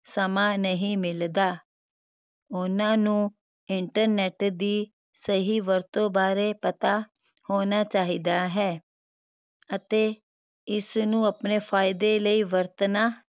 ਸਮਾਂ ਨਹੀਂ ਮਿਲਦਾ ਉਹਨਾਂ ਨੂੰ internet ਦੀ ਸਹੀ ਵਰਤੋਂ ਬਾਰੇ ਪਤਾ ਹੋਣਾ ਚਾਹੀਦਾ ਹੈ ਅਤੇ ਇਸ ਨੂੰ ਆਪਣੇ ਫਾਇਦੇ ਲਈ ਵਰਤਣਾ